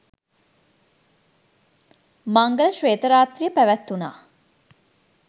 මංගල ශ්වේත රාත්‍රිය පැවැත්වුණා.